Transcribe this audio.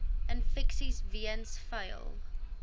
infeksies weens vuil